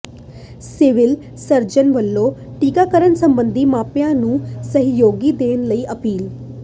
civil surgeon ਵਲੋਂ ਟੀਕਾਕਰਨ ਸਬੰਧੀ ਮਾਪਿਆਂ ਨੂੰ ਸਹਿਯੋਗ ਦੇਣ ਲਈ ਅਪੀਲ